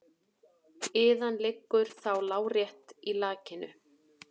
Iðan liggur þá lárétt í lakinu.